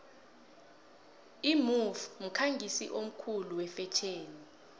imove mkhangisi omkhulu wefetjheni